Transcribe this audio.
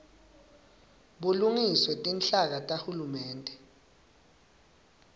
bulungiswe tinhlaka tahulumende